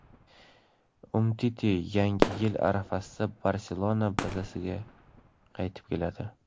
Umtiti yangi yil arafasida "Barselona" bazasiga qaytib keladi.